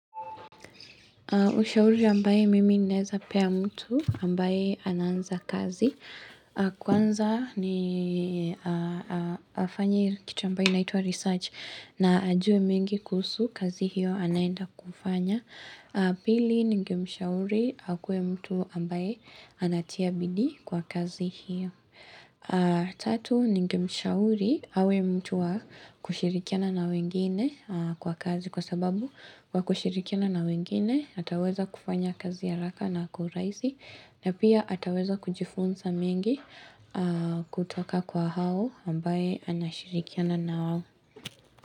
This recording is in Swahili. Ushauri ambayo mimi ninaeza pea mtu ambaye anaanza kazi. Kwanza ni afanye kitu ambayo inaitwa research na ajue mingi kusuhu kazi hiyo anaenda kufanya. Pili ningemshauri akuwe mtu ambaye anatia bidii kwa kazi hiyo Tatu ningemshauri awe mtu wa kushirikiana na wengine kwa kazi Kwa sababu kwa kushirikiana na wengine ataweza kufanya kazi haraka na kwa urahisi na pia ataweza kujifunza mingi kutoka kwa hao ambaye anashirikiana nao.